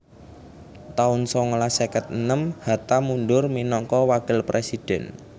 taun songolas seket enem Hatta mundur minangka wakil présidhèn